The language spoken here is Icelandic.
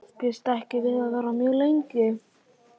Býst ekki við að verða mjög lengi.